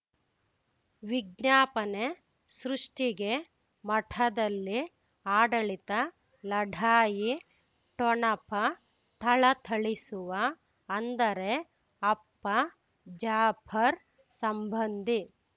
ವಿಜ್ಞಾಪನೆ ಸೃಷ್ಟಿಗೆ ಮಠದಲ್ಲಿ ಆಡಳಿತ ಲಢಾಯಿ ಠೊಣಪ ಥಳಥಳಿಸುವ ಅಂದರೆ ಅಪ್ಪ ಜಾಫರ್ ಸಂಬಂಧಿ